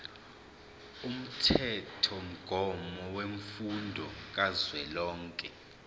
umthethomgomo wemfundo kazwelonke